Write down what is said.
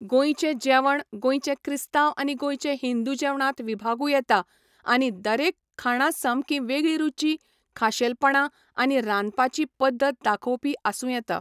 गोंयचें जेवण गोंयचें क्रिस्ताव आनी गोंयचें हिंदू जेवणांत विभागूं येता आनी दरेक खाणां सामकी वेगळीं रुची, खाशेलपणां, आनी रांदपाची पद्दत दाखोवपी आसूं येता.